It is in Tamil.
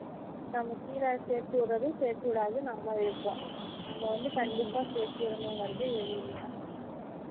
நம்ம கீழ சேர்த்து விட்டுறதும் சேர்த்து விடாததும் நம்ம விருப்பம் நம்ம வந்து கண்டிப்பா சேர்த்து விடணும் இங்குறது இது இல்லை